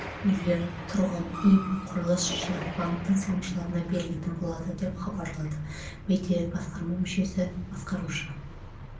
үйлер тұрғын үй құрылыс жинақ банкінің салымшыларына берілетін болады деп хабарлады бәйтерек басқарма мүшесі басқарушы